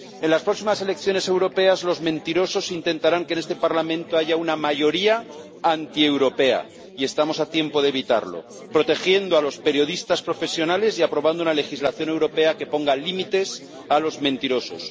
En las próximas elecciones europeas los mentirosos intentarán que en este Parlamento haya una mayoría antieuropea, y estamos a tiempo de evitarlo protegiendo a los periodistas profesionales y aprobando una legislación europea que ponga límites a los mentirosos.